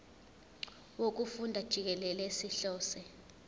wokufunda jikelele sihlose